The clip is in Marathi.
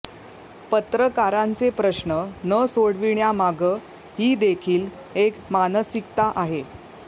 पत्रकारंाचे प्रश्न न सोडविण्यामागं ही देखील एक मानसिकता आहे